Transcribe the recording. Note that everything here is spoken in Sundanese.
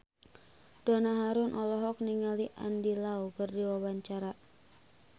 Donna Harun olohok ningali Andy Lau keur diwawancara